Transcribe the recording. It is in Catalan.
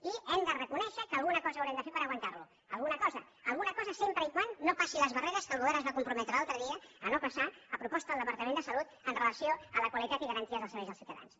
i hem de reconèixer que alguna cosa haurem de fer per aguantar lo alguna cosa alguna cosa sempre que no passi les barreres que el govern es va comprometre l’altre dia a no passar a proposta del departament de salut amb relació a la qualitat i garantia dels serveis als ciutadans